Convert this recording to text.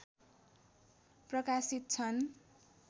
प्रकाशित छन्